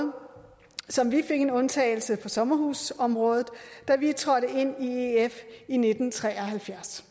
som vi fik en undtagelse på sommerhusområdet da vi i nitten tre og halvfjerds